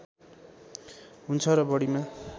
हुन्छ र बढीमा